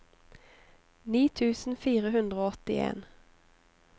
ni tusen fire hundre og åttien